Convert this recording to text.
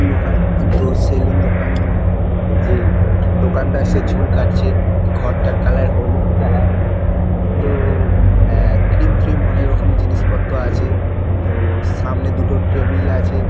দোকান সেলুন দোকান মানে যে দোকানদার সে চুল কাটছে এই ঘরটার কালার হলুদ কালার তো ক্রিম ফ্রিম অনেক রকম জিনিস পত্র আছে তো- সামনে দুটো টেবিল আছে।